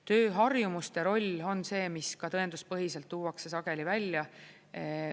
Tööharjumuste roll on see, mis ka tõenduspõhiselt tuuakse sageli välja.